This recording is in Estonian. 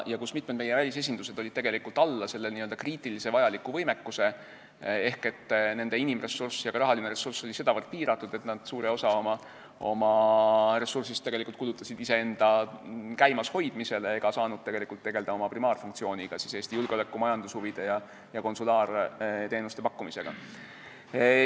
Mitmed meie välisesindused jäid tegelikult alla n-ö kriitiliselt vajaliku võimekuse ehk nende inimressurss ja ka rahaline ressurss olid sedavõrd piiratud, et nad suure osa oma ressurssidest tegelikult kulutasid iseenda käimashoidmisele ega saanud tegelda oma primaarfunktsiooniga – julgeoleku- ja majandushuvide esindamisega ja konsulaarteenuste pakkumisega.